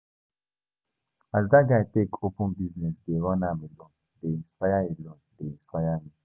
As dat guy take open business dey run am alone dey inspire alone dey inspire me.